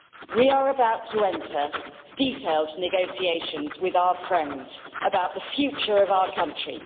We are about to enter detailed negotiations with our friends about the future of our country.